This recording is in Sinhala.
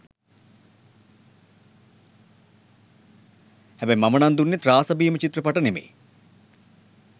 හැබැයි මමනම් දුන්නේ ත්‍රාස භීම ‍චිත්‍රපට නෙමෙයි.